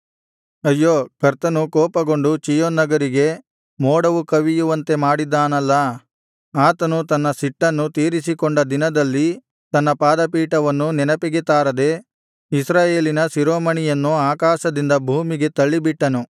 ಅಯ್ಯೋ ಕರ್ತನು ಕೋಪಗೊಂಡು ಚೀಯೋನ್ ನಗರಿಗೆ ಮೋಡವು ಕವಿಯುವಂತೆ ಮಾಡಿದ್ದಾನಲ್ಲಾ ಆತನು ತನ್ನ ಸಿಟ್ಟನ್ನು ತೀರಿಸಿಕೊಂಡ ದಿನದಲ್ಲಿ ತನ್ನ ಪಾದಪೀಠವನ್ನು ನೆನಪಿಗೆ ತಾರದೆ ಇಸ್ರಾಯೇಲಿನ ಶಿರೋಮಣಿಯನ್ನು ಆಕಾಶದಿಂದ ಭೂಮಿಗೆ ತಳ್ಳಿಬಿಟ್ಟನು